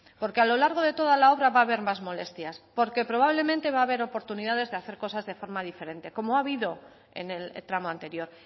porque a lo largo de toda la obra va a haber más molestias porque probablemente va a haber oportunidades de hacer cosas de forma diferente como ha habido en el tramo anterior